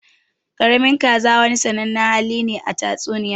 Ƙaramin kaza wani sannanen hali ne a tatsuniya.